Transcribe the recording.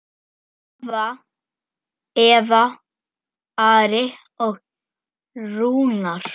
Svava, Eva, Ari og Rúnar.